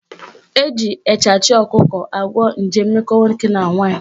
Eji echachị ọkụkọ agwọ nje mmekọ nwoke na nwaanyị